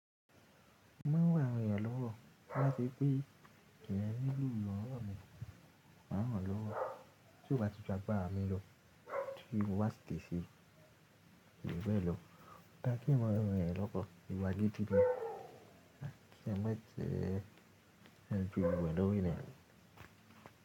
Mo maa n ran awon eeyan lọ́wọ́ to ba se pé eeyan ni lo iranlowo mi, máa ń ràn lọ́wọ́. Tí o bá ti ju agbara mi lo, ti mo ba si le se. Ko ju bee lo. Dá kí n mo ìwè rẹ̀ lọ́kọ, ìwáyé ti dín tín. Kí ẹ mọ̀ ẹ́ jẹẹ́, ẹ fi ìwè lọ́rí ẹ̀.